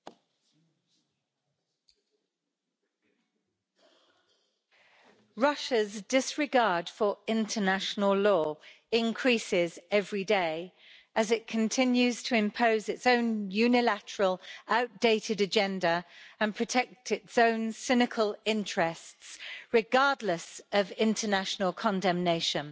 Mr President, Russia's disregard for international law increases every day as it continues to impose its own unilateral and outdated agenda and to protect its own cynical interests, regardless of international condemnation.